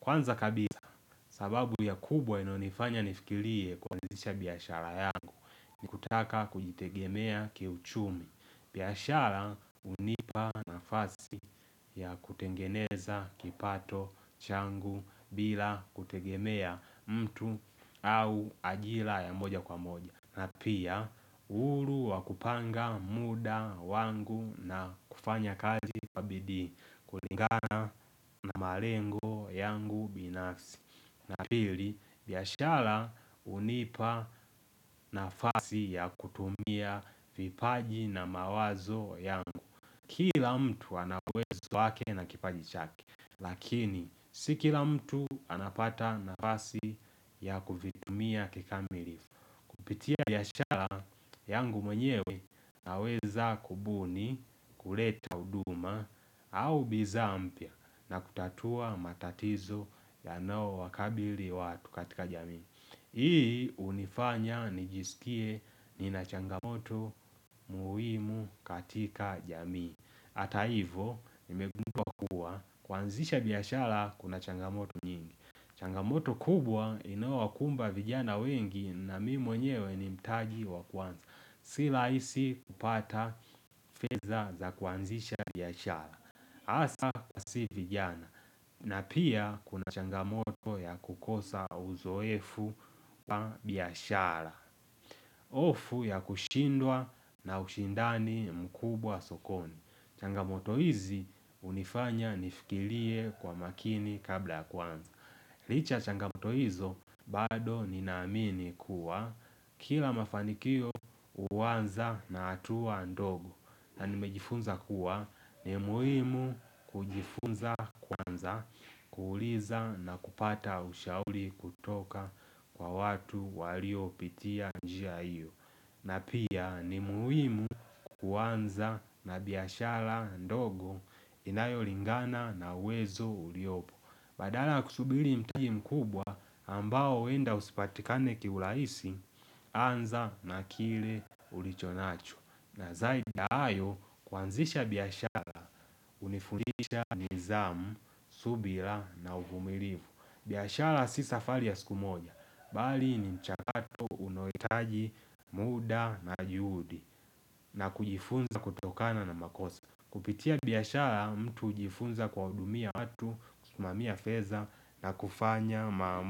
kwanza kabisa sababu ya kubwa inayonifanya nifikirie kuanzisha biashara yangu ni kutaka kujitegemea kiuchumi biashara hunipa nafasi ya kutengeneza kipato changu bila kutegemea mtu au ajira ya moja kwa moja na pia uhuru wa kupanga muda wangu na kufanya kazi kwa bidii kulingana na malengo yangu binafsi na pili, biaashara hunipa nafasi ya kutumia vipaji na mawazo yangu Kila mtu ana uwezo wake na kipaji chake Lakini, si kila mtu anapata nafasi ya kuvitumia kikamilifu Kupitia biashara yangu mwenyewe naweza kubuni kuleta huduma au bidhaa mpya na kutatua matatizo yanayo wakabili watu katika jamii Hii hunifanya nijisikie nina changamoto muhimu katika jamii hata hivyo nimegundua kuwa kuanzisha biashara kuna changamoto nyingi changamoto kubwa inayowakumba vijana wengi na mimi mwenyewe ni mtaji wa kuanza Si rahisi kupata fedhaa za kuanzisha biashara hasa kwa sisi vijana na pia kuna changamoto ya kukosa uzoefu pa biashara hofu ya kushindwa na ushindani mkubwa sokoni changamoto hizi hunifanya nifikirie kwa makini kabla kuanza Licha changamoto hizo bado ninaamini kuwa kila mafanikio huanza na hatua ndogo na nimejifunza kuwa ni muhimu kujifunza kwanza, kuuliza na kupata ushauri kutoka kwa watu waliopitia njia hiyo. Na pia ni muhimu kuanza na biashara ndogo inayolingana na uwezo uliopo. Badala kusubiri mtaji mkubwa ambao huenda usipatikane kiurahisi, anza na kile ulichonacho. Na zaidi ya hayo kuanzisha biashara hunifundisha nidhamu, subira na uvumilivu biashara si safari ya siku moja Bali ni mchakato unaohitaji muda na juhudi na kujifunza kutokana na makosa Kupitia biashara mtu hujifunza kuwahudumia watu, kusimamia fedha na kufanya maamuzi.